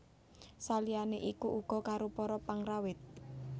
Saliyane iku uga karo para pengrawit